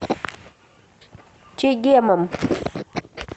чегемом